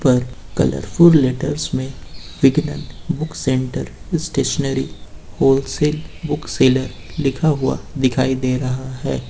पर colourful letter में Vigyan book centre stationery wholesale book sellers लिखा हुआ दिखाई दे रहा है।